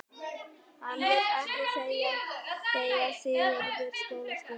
Hann vill ekkert segja, sagði Sigurður skólastjóri.